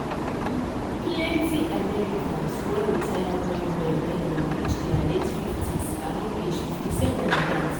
plenty americans wan retire well well when dem reach dia late 50s around age 57 be dat.